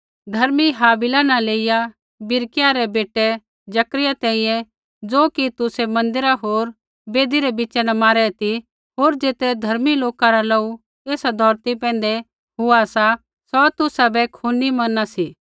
धर्मी हाबिल न लेइया बिरिक्याह रै बेटै जकर्याह तैंईंयैं ज़ो कि तुसै मन्दिर होर वेदी रै बिच़ा न मारै ती होर ज़ेतरै धर्मी लोका रा लोहू एसा धौरती पैंधै हुआ सा सौ तुसाबै खूनी मना सी